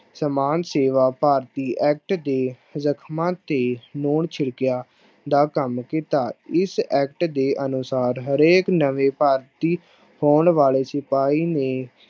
ਸਮਾਨ ਸੇਵਾ ਭਾਰਤੀ act ਦੇ ਜਖ਼ਮਾਂ ਤੇ ਲੂੂਣ ਛਿੜਕਿਆ ਦਾ ਕੰਮ ਕੀਤਾ, ਇਸ act ਦੇ ਅਨੁਸਾਰ ਹਰੇਕ ਨਵੇਂ ਭਰਤੀ ਹੋਣ ਵਾਲੇ ਸਿਪਾਹੀ ਨੇ